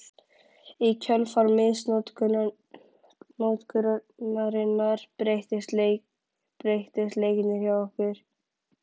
Í kjölfar misnotkunarinnar breyttust leikirnir hjá okkur.